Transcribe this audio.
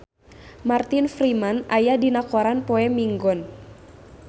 Martin Freeman aya dina koran poe Minggon